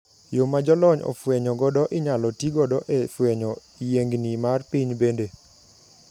Yo ma jolony ofwenye godo inyalo ti godo e fwenyo yiengni mar piny bende.